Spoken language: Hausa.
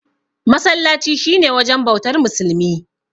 Masallaci shi ne wajen bautar musulmi.